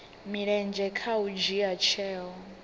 mulenzhe kha u dzhia tsheo